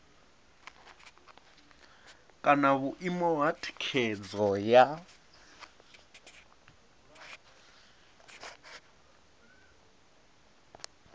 kana vhuimo ha thikhedzo ya